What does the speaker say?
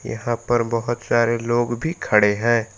यहां पर बहोत सारे लोग भी खड़े हैं।